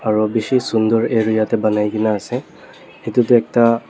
aro bishi sunder area tae banaikae na ase edu tu ekta.